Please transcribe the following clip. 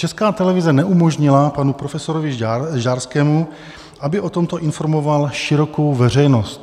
Česká televize neumožnila panu profesorovi Žďárskému, aby o tomto informoval širokou veřejnost.